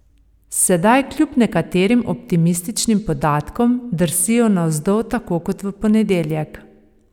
Sedaj kljub nekaterim optimističnim podatkom drsijo navzdol tako kot v ponedeljek.